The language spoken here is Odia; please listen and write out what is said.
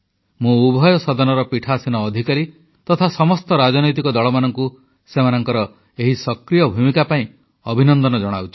ମୁଁ ଉଭୟ ସଦନର ପୀଠାସୀନ ଅଧିକାରୀ ତଥା ସମସ୍ତ ରାଜନୈତିକ ଦଳମାନଙ୍କୁ ସେମାନଙ୍କର ଏହି ସକ୍ରିୟ ଭୂମିକା ପାଇଁ ଅଭିନନ୍ଦନ ଜଣାଉଛି